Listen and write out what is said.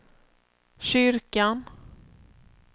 kyrkan